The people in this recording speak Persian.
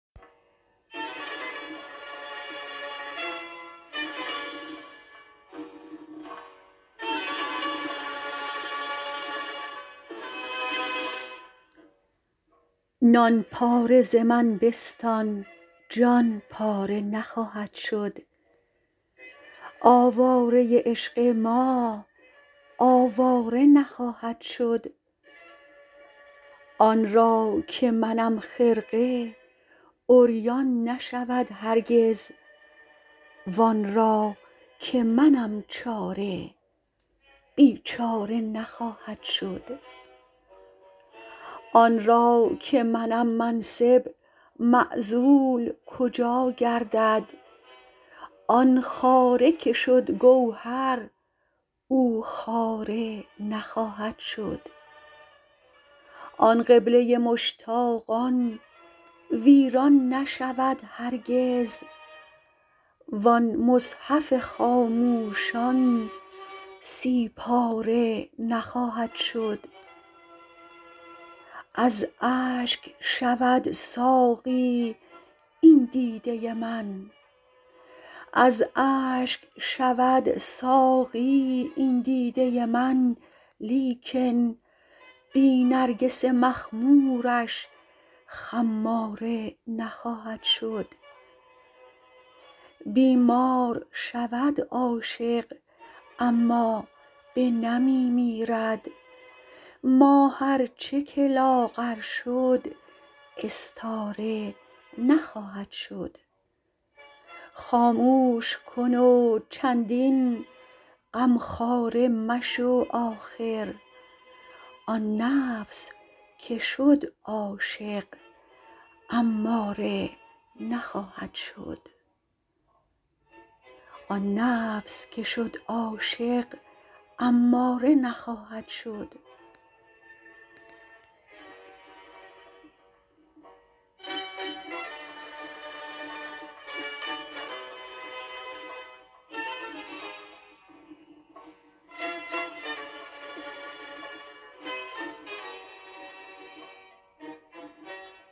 نان پاره ز من بستان جان پاره نخواهد شد آواره عشق ما آواره نخواهد شد آن را که منم خرقه عریان نشود هرگز وان را که منم چاره بیچاره نخواهد شد آن را که منم منصب معزول کجا گردد آن خاره که شد گوهر او خاره نخواهد شد آن قبله مشتاقان ویران نشود هرگز وان مصحف خاموشان سی پاره نخواهد شد از اشک شود ساقی این دیده من لیکن بی نرگس مخمورش خماره نخواهد شد بیمار شود عاشق اما بنمی میرد ماه ار چه که لاغر شد استاره نخواهد شد خاموش کن و چندین غمخواره مشو آخر آن نفس که شد عاشق اماره نخواهد شد